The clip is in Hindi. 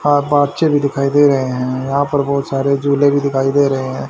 हाफ भी दिखाई दे रहे हैं यहा पे बहोत सारे झूले भी दिखाई दे है।